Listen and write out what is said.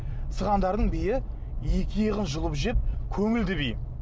сығандардың биі екі иығын жұлып жеп көңілді би